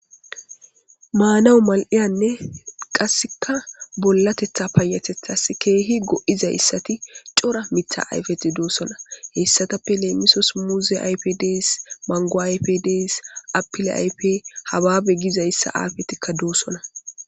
Maanawu mal7eyanne qasseka bollatetha payatethas keehi go7izayssati cora mitha ayfeti doossona heyssatappe leemisos muuze ayp dees mango ayp des apile aype hababe gizayssa aafetikka doossona.